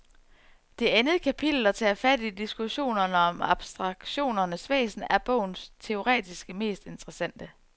Det andet kapitel, der tager fat i diskussionerne om abstraktionens væsen, er bogens teoretisk mest interessante.